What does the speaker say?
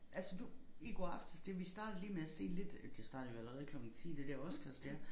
Altså du i går aftes det vi startede lige med at se lidt det startede jo allerede klokken 10 det der Oscars der